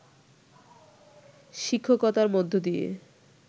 শিক্ষকতার মধ্য দিয়ে